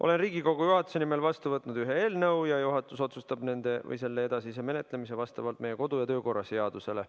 Olen Riigikogu juhatuse nimel vastu võtnud ühe eelnõu ja juhatus otsustab selle edasise menetlemise vastavalt meie kodu- ja töökorra seadusele.